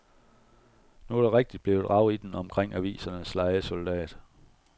Nu er der rigtigt blevet rav i den omkring avisens lejesoldat.